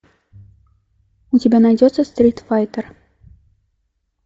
у тебя найдется стрит файтер